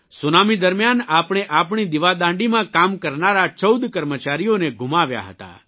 tsunami દરમિયાન આપણે આપણી દિવાદાંડીમાં કામ કરનારા 14 કર્મચારીઓને ગુમાવ્યા હતા